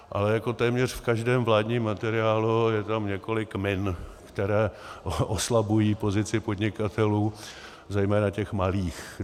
Ale jako téměř v každém vládním materiálu je tam několik min, které oslabují pozici podnikatelů, zejména těch malých.